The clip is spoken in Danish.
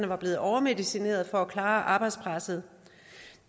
var blevet overmedicineret for at klare arbejdspresset